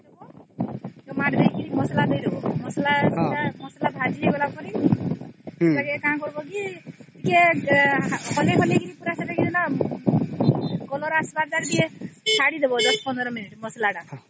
tomato ଦେଇକି ମସଲା ଦେଇ ଦବ ମସଲା ପୁରା ଭାଜି ହେଇଗଲା ପରେ କଣ କରିବା କି ଟିକେ ହଲେଇ ହଲେଇ କି ସେଟା ଯେନ୍ତା colour ଆସିବା ଚଡି ଦବ ଟିକେ ୧୦୧୫ ମିନିଟ ଟିକେ ମସଲା ତା